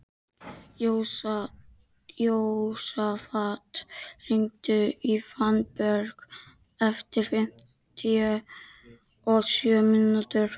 Jósafat, hringdu í Fannberg eftir fimmtíu og sjö mínútur.